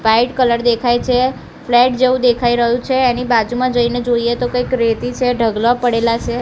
White colour દેખાય છે flat જેવુ દેખાય રહ્યુ છે એની બાજુમાં જઇને જોઈએ તો કઈક રેતી છે ઢગલો પડેલા છે.